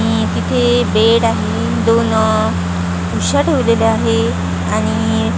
आणि तिथे बेड आहे दोन आह उशा ठेवलेल्या आहे आणि --